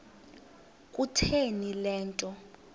kutheni le nto